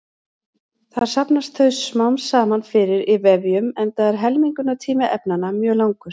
Þar safnast þau smám saman fyrir í vefjum enda er helmingunartími efnanna mjög langur.